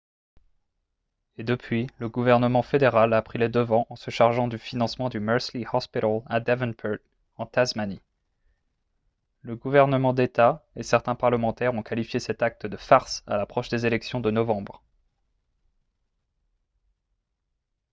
et depuis le gouvernement fédéral a pris les devants en se chargeant du financement du mersey hospital à devonport en tasmanie le gouvernement d'état et certains parlementaires ont qualifié cet acte de farce à l'approche des élections de novembre